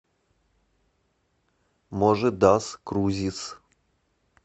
можи дас крузис